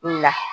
Na